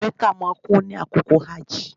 Mecca máa kún ni àkókò hajji